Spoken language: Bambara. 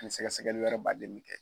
N'i sɛgɛsɛgɛli wɛrɛ baden bɛ kɛ.